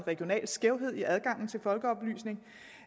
regional skævhed i adgangen til folkeoplysning